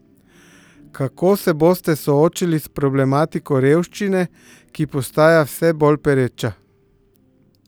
Kako se boste soočili s problematiko revščine, ki postaja vse bolj pereča?